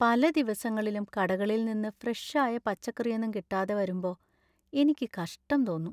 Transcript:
പല ദിവസങ്ങളിലും കടകളിൽ നിന്ന് ഫ്രഷ് ആയ പച്ചക്കറിയൊന്നും കിട്ടാതെ വരുമ്പോ എനിക്ക് കഷ്ട്ടം തോന്നും .